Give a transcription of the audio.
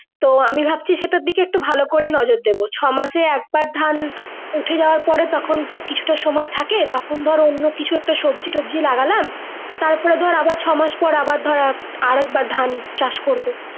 তো আমি ভাবছি সেটার দিকে একটা ভালো করে নজর দিবো ছ মাস এ একবার ধান উঠে যাবার পরে তখন তো কিছুটা সময় থাকে তখন ধর অন্যকিছু সবজি টোবাজি লাগালাম তার পরে ধর আবার ছ মাস পর আবার ধর আরাকবার ধান চাষ করবো।